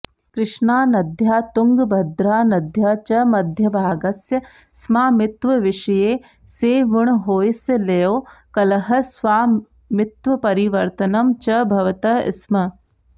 कृष्णानद्याः तुङ्गभद्रानद्याः च मध्यभागस्य स्मामित्वविषये सेवुणहोय्सळयोः कलहः स्वामित्वपरिवर्तनं च भवतः स्म